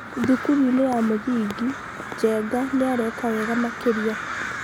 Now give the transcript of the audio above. thukuru-inĩ ya mũthingi Njenga nĩ areka wega makĩria.